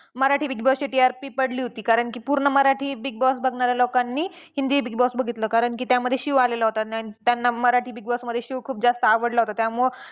Marathi Big Boss ची TRP पडली होती कारण की पूर्ण मराठी Big Boss बघणाऱ्या लोकांनी हिंदी Big Boss बघितलं कारण की त्यामध्ये शिव आलेला होता त्यांना मराठी Big Boss मध्ये शिव खूप जास्त आवडला होता त्यामुळं